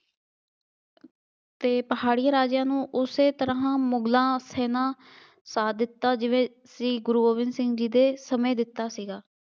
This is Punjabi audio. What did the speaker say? ਅਤੇ ਪਹਾੜੀ ਰਾਜਿਆ ਨੂੰ ਉਸੇ ਤਰ੍ਹਾ ਮੁਗਲਾਂ ਸੈਨਾ ਸਾਥ ਦਿੱਤਾ ਜਿਵੇਂ ਸ਼੍ਰੀ ਗੁਰੂ ਗੋਬਿੰਦ ਸਿੰਘ ਜੀ ਦੇ ਸਮੇਂ ਦਿੱਤਾ ਸੀ।